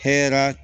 Hɛrɛ